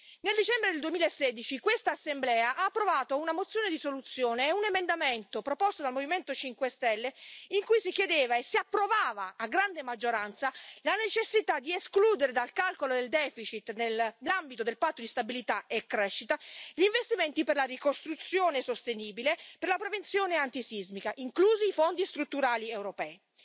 Nel dicembre del 2016 quest'Assemblea ha approvato una proposta di risoluzione e un emendamento, proposto dal Movimento 5Stelle, in cui si chiedeva e si approvava a grande maggioranza la necessità di escludere dal calcolo del deficit, nell'ambito del Patto di stabilità e crescita, gli investimenti per la ricostruzione sostenibile e per la prevenzione antisismica, inclusi i Fondi strutturali europei.